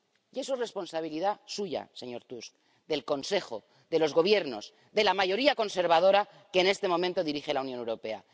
Y eso es responsabilidad suya, señor Tusk, del Consejo, de los Gobiernos, de la mayoría conservadora que en este momento dirige la Unión Europea.